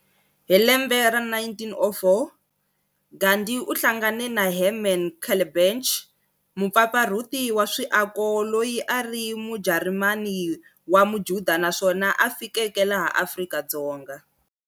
Hi lembe ra 1904, Gandhi u hlangane na Herman Kallenbach, Mupfapfarhuli wa swiako loyi a ari mujarimani wa mujuda naswona a fikeke laha Afrika.